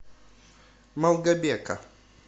малгобека